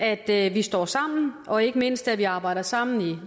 at vi står sammen og ikke mindst arbejder sammen i